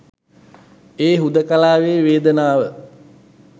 ඒ හුදකලාවෙ වේදනාව